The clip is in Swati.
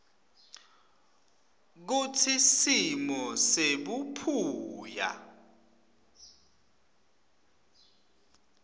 kutsi simo sebuphuya